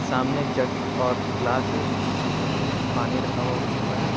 सामने जग और ग्लास है जिसमें पानी रखा हुआ हो सकता है।